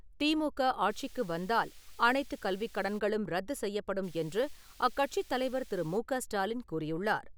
திமுக ஆட்சிக்கு வந்தால் அனைத்து கல்விக்கடன்களும் ரத்துசெய்யப்படும் என்று அக்கட்சித் தலைவர் திரு மு க ஸ்டாலின் கூறியுள்ளார்.